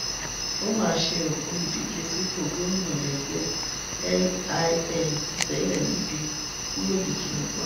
ó mà ṣe o olùdíje sípò gómìnà lẹgbẹ lil tẹlẹ mike kú lójijì ní kwara